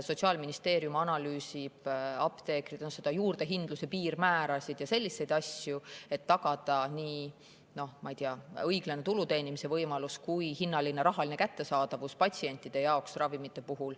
Sotsiaalministeerium analüüsib, apteekrid on juurdehindluse piirmäärasid ja selliseid asju, et tagada nii õiglase tulu teenimise võimalus kui ka ravimite rahaline kättesaadavus patsientidele.